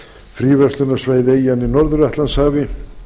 fríverslunarsvæði eyjanna í norður atlantshafi